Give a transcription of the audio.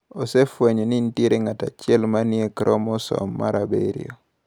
Osefwenyo ni nitie ng’at achiel ma ni e kromosom mar 7.